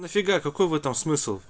нафига какой в этом смысл